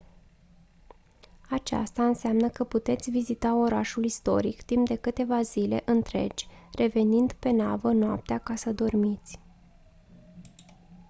aceasta înseamnă că puteți vizita orașul istoric timp de câteva zile întregi revenind pe navă noaptea ca să dormiți